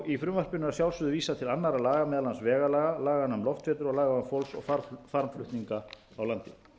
í frumvarpinu að sjalfsögðu er vísað til annarra laga meðal annars vegalaga laganna um loftferðir og laganna um fólks og farmflutninga á landi